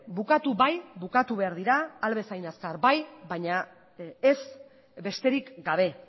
bukatu bai bukatu behar dira ahal bezain azkar bai baina ez besterik gabe